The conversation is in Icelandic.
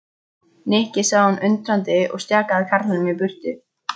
Nikki sagði hún undrandi og stjakaði karlinum í burtu.